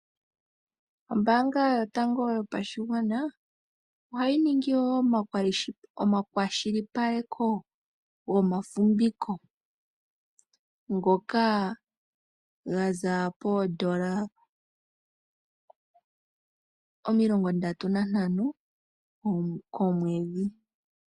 Ombaanga yotango yopashigwana, oha yi ningi wo omakwashilipaleko, gomafimviko, ngoka ga za poondola omilongo ndatu nantano, komwedhi.